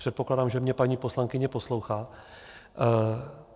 Předpokládám, že mě paní poslankyně poslouchá.